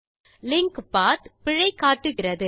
link பத் பிழை காட்டுகிறது